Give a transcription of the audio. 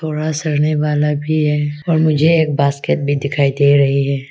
पूरा सड़ने वाला भी है और मुझे एक बास्केट भी दिखाई दे रही है।